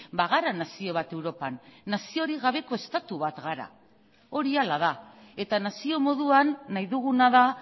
bagara nazio bat europan naziorik gabeko estatu bat gara hori hala da eta nazio moduan nahi duguna da